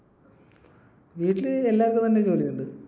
വീട്ടിൽ എല്ലാർക്കും തന്നെ ജോലിയുണ്ട്.